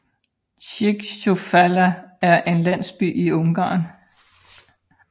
Zichyújfalu er en landsby i Ungarn